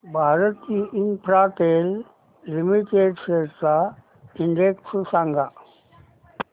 Bharti Infratel limited shares चा index सांगा